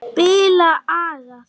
Spila agað!